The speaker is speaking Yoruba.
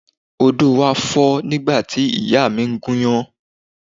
Odo wa fo nígbà tí ìyá mi ń gúnyán.